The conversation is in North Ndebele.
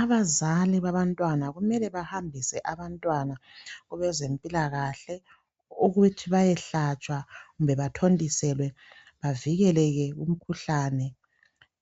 Abazali babantwana kumele bahambise abantwana kwabezempilakahle ukuthi bayehlatshwa kumbe bathontiselwe bavikeleke emikhuhlaneni